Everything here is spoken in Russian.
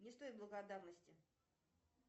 не стоит благодарности